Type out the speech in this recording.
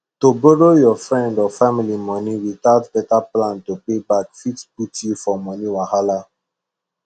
to borrow your friend or family money without better plan to pay back fit put you for money wahala